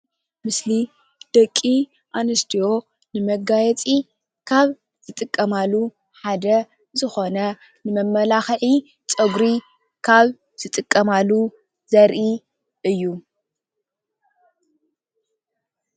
ምስሊ ደቂ ኣንስትዮ ንመጋየፂ ካብ ዝጥቀማሉ ሓደ ዝኮነ መማላክዒ ፀጉሪ ካብ ዝጥቀማሉ ዘርኢ እዩ::